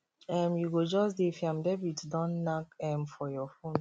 um you go just dey fiam debit don nack um for your fon